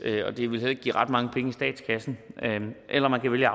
og det ville heller ikke give ret mange penge i statskassen eller man kan vælge